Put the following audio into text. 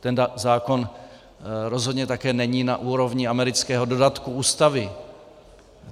Ten zákon rozhodně také není na úrovni amerického dodatku ústavy.